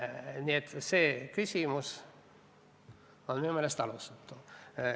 Nii et see küsimus on minu meelest alusetu.